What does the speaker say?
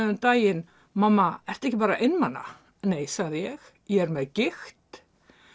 um daginn mamma ertu ekki bara einmana nei sagði ég ég er með gigt